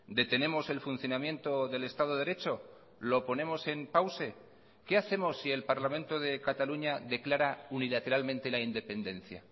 detenemos el funcionamiento del estado de derecho lo ponemos en pause qué hacemos si el parlamento de cataluña declara unilateralmente la independencia